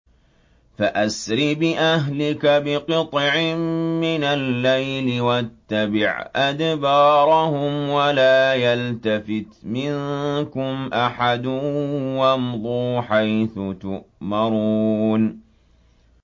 فَأَسْرِ بِأَهْلِكَ بِقِطْعٍ مِّنَ اللَّيْلِ وَاتَّبِعْ أَدْبَارَهُمْ وَلَا يَلْتَفِتْ مِنكُمْ أَحَدٌ وَامْضُوا حَيْثُ تُؤْمَرُونَ